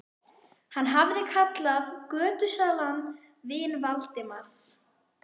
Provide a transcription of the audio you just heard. Hann hafði kallað götusalann vin Valdimars.